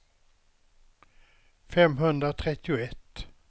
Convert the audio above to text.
femhundratrettioett